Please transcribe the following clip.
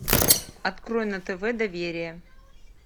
открой на тв доверие